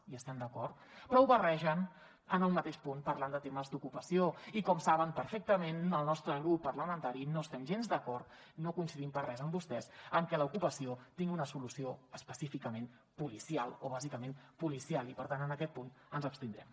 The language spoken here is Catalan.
hi estem d’acord però ho barregen en un mateix punt parlant de temes d’ocupació i com saben perfectament el nostre grup parlamentari no estem gens d’acord no coincidim per res amb vostès en que l’ocupació tingui una solució específicament policial o bàsicament policial i per tant en aquest punt ens abstindrem